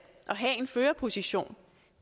og have en førerposition